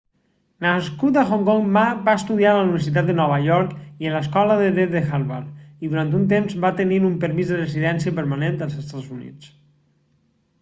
nascut a hong kong ma va estudiar a la universitat de nova york i a l'escola de dret de harvard i durant un temps va tenir un permís de residència permanent als estats units